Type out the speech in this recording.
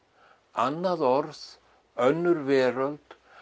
annað orð önnur veröld